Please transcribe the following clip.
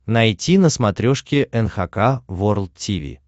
найти на смотрешке эн эйч кей волд ти ви